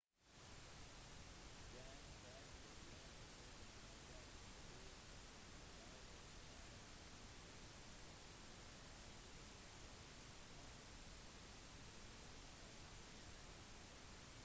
den første kjente boken i verden ble skrevet i sanskrit etter samling av upanishadene falmet sanskrit på grunn av hierarki